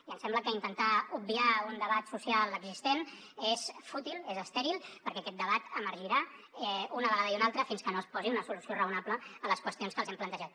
i ens sembla que intentar obviar un debat social existent és fútil és estèril perquè aquest debat emergirà una vegada i una altra fins que no es posi una solució raonable a les qüestions que els hem plantejat